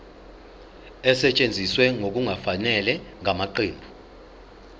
esetshenziswe ngokungafanele ngamaqembu